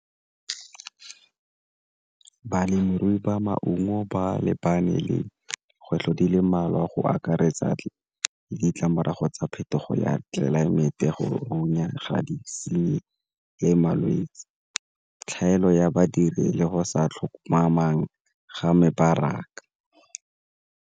Balemirui ba maungo ba lebane le dikgwetlho di le mmalwa a go akaretsa ditlamorago tsa phetogo ya tlelaemete, go o nyala ga di malwetse, tlhaelo ya badiri le go sa tlhomamang ga mebaraka.